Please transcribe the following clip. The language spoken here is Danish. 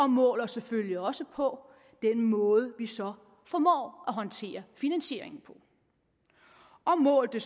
mål os selvfølgelig også på den måde vi så formår at håndtere finansieringen på og mål det